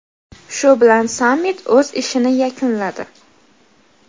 Shu bilan sammit o‘z ishini yakunladi.